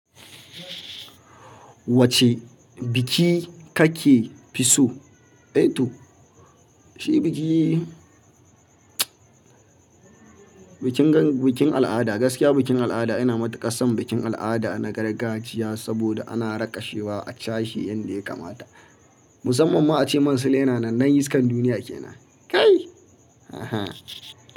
Wacce biki kake fi so? Eh to, shi biki bikin al'ada, gaskiya bikin al'ada ina matuƙar son bikin al'ada na gargajiya saboda ana rakashewa a cashe yanda ya kamata. Musamman ma ace man Sule yana nan, dan iskan duniya ke nan. Kai! Ehen.